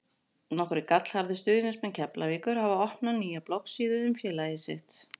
Nokkrir gallharðir stuðningsmenn Keflavíkur hafa opnað nýja bloggsíðu um félagið sitt.